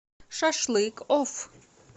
шашлыкоф